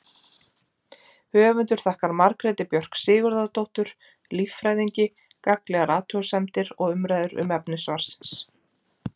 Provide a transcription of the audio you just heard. Höfundur þakkar Margréti Björk Sigurðardóttur líffræðingi gagnlegar athugasemdir og umræður um efni svarsins.